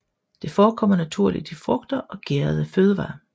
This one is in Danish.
Det forekommer naturligt i frugter og gærede fødevarer